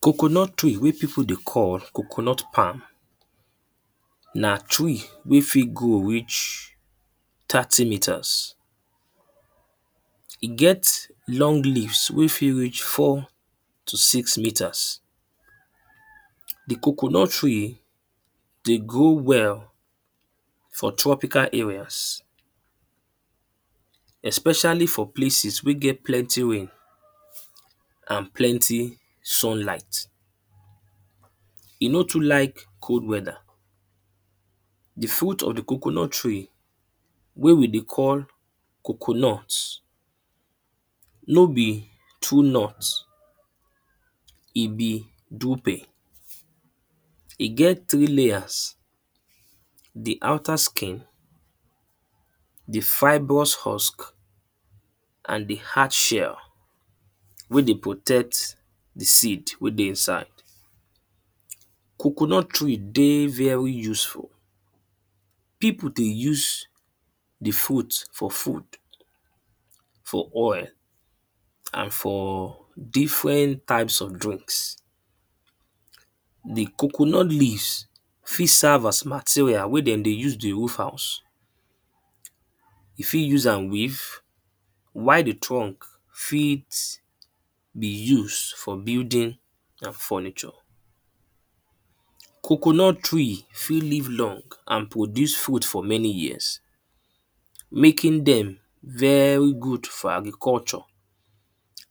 Coconut tree wey people dey call coconut palm na tree wey fit grow reach thirty metres. E get long leaves wey fit reach four to six metres. The coconut tree dey grow well for tropical areas. Especially for places wey get plenty rain and plenty sunlight. E no too like cold weather. The fruit of the coconut tree wey we dey call coconut. No be true nut. E be drupe. E get three layers. The outer skin, the fibrous husk and the hard shell wey dey protect the seed wey dey inside. Coconut tree dey very useful. People dey use the fruit for food, for oil and for different types of drink. The coconut leaves fit serve as materials wey dem dey use dey roof house. You fit use am weave while the trunk fit be use for building and furniture. Coconut tree fit live long and produce fruits for many years. Making dem very good for agriculture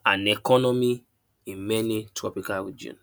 and economy in many tropical region.